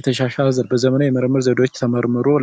የተሻሻለ በዘመናዊ ምርምር ዘዴዎች